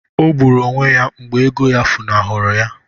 Ọ gburu onwe ya mgbe ego ya funahụrụ ya